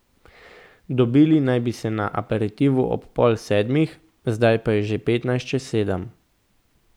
Dobili naj bi se na aperitivu ob pol sedmih, zdaj pa je že petnajst čez sedem.